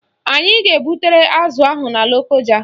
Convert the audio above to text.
Anyị ga-ebutere azụ ahụ na Lokoja